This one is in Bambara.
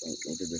o de